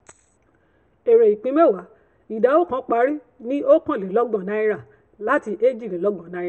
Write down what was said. ère ìpín mẹ́wàá ìdá oókan parí ní oókànlélọ́gbọ̀n naira láti eéjìdínlégbọ̀n naira